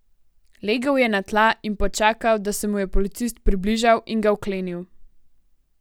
Legel je na tla in počakal, da se mu je policist približal in ga vklenil.